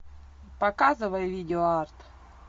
показывай видеоарт